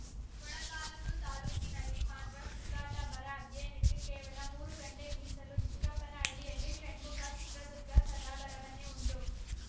ಮೊಳಕಾಲ್ಮುರು ತಾಲೂಕಿನಲ್ಲಿ ಮಾತ್ರ ಸುತ್ತಾಟ ಬರ ಅಧ್ಯಯನಕ್ಕೆ ಕೇವಲ ಮೂರು ಗಂಟೆ ಮೀಸಲು ಚಿಕ್ಕಪ್ಪನಹಳ್ಳಿ ಷಣ್ಮುಖ ಚಿತ್ರದುರ್ಗ ಸದಾ ಬರವನ್ನೇ ಉಂಡು